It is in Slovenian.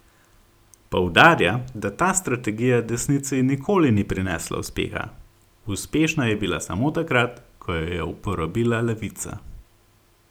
Poudarja, da ta strategija desnici nikoli ni prinesla uspeha: 'Uspešna je bila samo takrat, ko jo je uporabila levica.